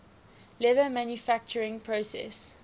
leather manufacturing process